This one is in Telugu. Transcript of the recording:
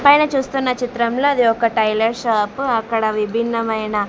పైన చూస్తున్న చిత్రంలో అది ఒక టైలర్ షాపు అక్కడ విభిన్నమైన.